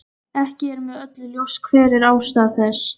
Ekki er með öllu ljóst hver er ástæða þessa.